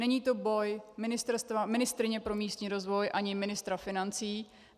Není to boj ministryně pro místní rozvoj ani ministra financí.